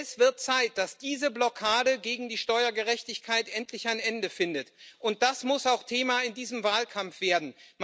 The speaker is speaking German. Es wird Zeit, dass diese Blockade gegen die Steuergerechtigkeit endlich ein Ende findet, und das muss auch Thema in diesem Wahlkampf werden.